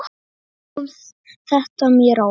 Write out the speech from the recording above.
Kom þetta mér á óvart?